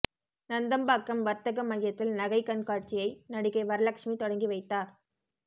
நந்தம்பாக்கம் வர்த்தகமையத்தில் நகை கண்காட்சியை நடிகை வரலக்ஷ்மி தொடங்கி வைத்தார்